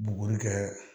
Buguri kɛ